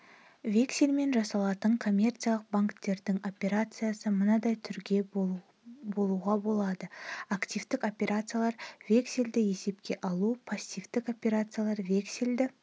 вексельмен жасалатын коммерциялық банктердің операциясы мындай түрге болуға болады активтік операциялар вексельді есепке алу пассивтік операциялар вексельді